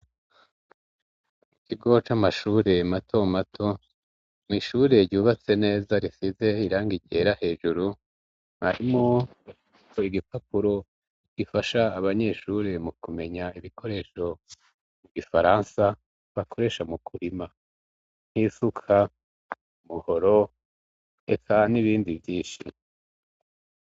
Ikigo c'amashure matomato n'ishure ryubatse neza risize irangi ryera hejuru harimo igipapuro gifasha abanyeshure mu kumenya ibikoresho mu gifaransa bakoresha mu kurima nk'isuka, umuhoro reka n'ibindi vvinshi.